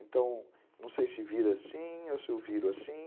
Então, não sei se vira assim ou se eu viro assim.